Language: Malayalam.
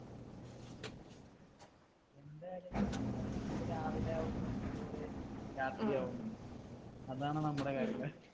എന്റെ കാര്യങ്ങൾ എന്ന് പറഞ്ഞാൽ നമ്മക്ക് രാവിലെയാവുന്നു അതുപോലെ രാത്രിയാവുന്നു. അതാണ് നമ്മടെ കാര്യങ്ങൾ